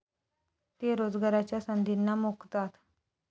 ते रोजगाराच्या संधींना मुकतात.